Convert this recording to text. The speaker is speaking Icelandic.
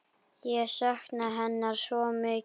Ég sakna hennar svo mikið.